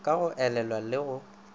ka go elelwa le go